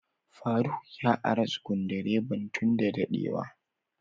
Faruk ya ara Sukudireban tun da dade wa.